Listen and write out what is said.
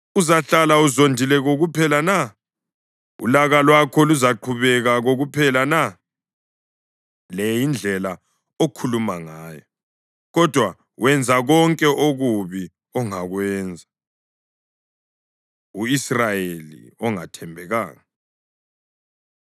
uzahlala uzondile kokuphela na? Ulaka lwakho luzaqhubeka kokuphela na?’ Le yindlela okhuluma ngayo, kodwa wenza konke okubi ongakwenza.” U-Israyeli Ongathembekanga